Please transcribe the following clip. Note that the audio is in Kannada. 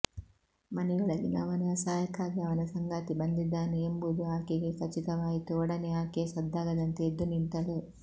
ಮನೆಯೊಳಗಿನವನ ಸಹಾಯಕ್ಕಾಗಿ ಅವನ ಸಂಗಾತಿ ಬಂದಿದ್ದಾನೆ ಎಂಬುದು ಆಕೆಗೆ ಖಚಿತವಾಯಿತು ಒಡನೆ ಆಕೆ ಸದ್ದಾಗದಂತೆ ಎದ್ದು ನಿಂತಳು